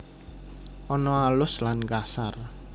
Ana alus lan kasar